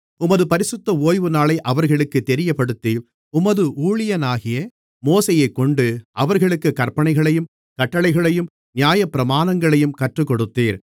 உமது பரிசுத்த ஓய்வுநாளை அவர்களுக்குத் தெரியப்படுத்தி உமது ஊழியனாகிய மோசேயைக்கொண்டு அவர்களுக்குக் கற்பனைகளையும் கட்டளைகளையும் நியாயப்பிரமாணங்களையும் கற்றுக்கொடுத்தீர்